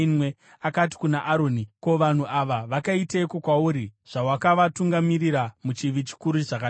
Akati kuna Aroni, “Ko vanhu ava vakaiteiko kwauri, zvawakavatungamirira muchivi chikuru zvakadai?”